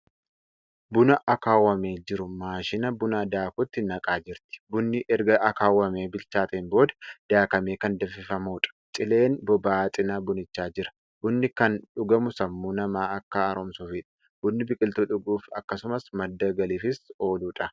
Buna akaawamee jiru maashina buna daakutti naqaa jirti. bunni erga akaawwamee bilchaateen booda daakamee Kan danfifamuudha. cileen boba'aa cinaa bunichaa jira. bunni Kan dhugamu sammuu namaa Akka haaromsuufidha. bunni biqiltuu dhuguuf akkasumas madda galiifis ooludha.